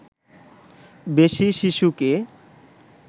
বেশি শিশুকে